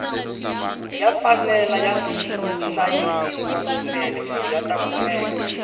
ya fanele ya hlayisiwa swinene kuri yata kumeka